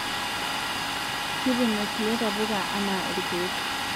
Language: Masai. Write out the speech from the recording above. Kitumie kulie tapuka anaa irkeek